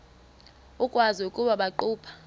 ukwazi ukuba baqhuba